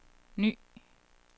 ny